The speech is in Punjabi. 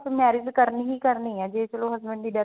marriage ਕਰਨੀ ਹੀ ਕਰਨੀ ਜੇ ਚਲੋ husband ਦੀ death